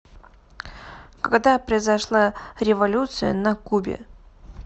когда произошла революция на кубе